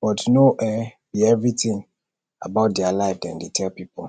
but no um be everything about their life dem dey tell pipo